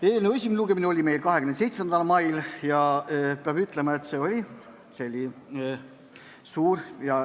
Eelnõu esimene lugemine oli 27. mail.